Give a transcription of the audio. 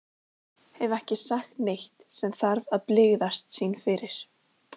Hef ekki sagt neitt sem þarf að blygðast sín fyrir.